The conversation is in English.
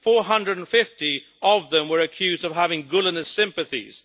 450 of them were accused of having Gulenist sympathies.